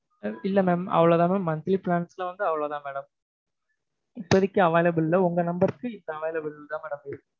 இல்லை mam அவ்வளவுதான் mam monthly plans ல வந்து அவ்வளவுதான் madam இப்போதைக்கு available இல்லை உங்க number க்கு இதான் mam available இருக்கு